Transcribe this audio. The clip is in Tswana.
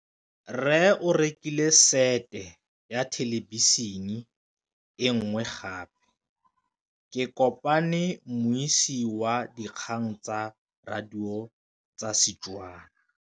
Rre o rekile sete ya thêlêbišênê e nngwe gape. Ke kopane mmuisi w dikgang tsa radio tsa Setswana.